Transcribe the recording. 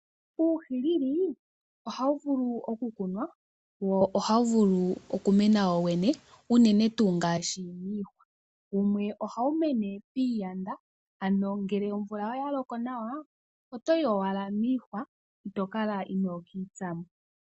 Uuhilili ohawu vulu okukunwa wo ohawu vulu okumena wowene, inene tuu ngaashi miihwa. Wumwe ohawu mene piiyanda ngele omvula oya loko nawa otoyi owala miihwa, ito kala inoka itsamo.